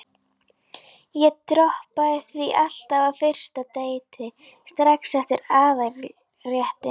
Ég droppaði því alltaf á fyrsta deiti, strax eftir aðalréttinn.